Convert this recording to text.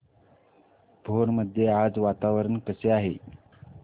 भोर मध्ये आज वातावरण कसे आहे